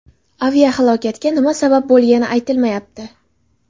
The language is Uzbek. Aviahalokatga nima sabab bo‘lgani aytilmayapti.